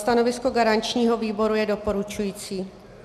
Stanovisko garančního výboru je doporučující.